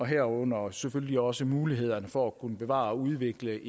herunder selvfølgelig også muligheden for at kunne bevare og udvikle